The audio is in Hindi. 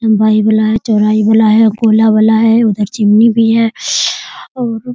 दवाई वाला है चोहराही वाला हैऔर कोला वाला है उधर चिमनी भी है और --